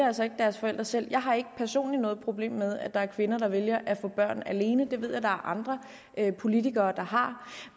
altså ikke deres forældre selv jeg har ikke personligt noget problem med at der er kvinder der vælger at få børn alene det ved jeg at der er andre politikere der har